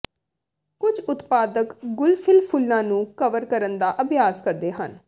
ਕੁਝ ਉਤਪਾਦਕ ਗੁਲਫਿਲ ਫੁੱਲਾਂ ਨੂੰ ਕਵਰ ਕਰਨ ਦਾ ਅਭਿਆਸ ਕਰਦੇ ਹਨ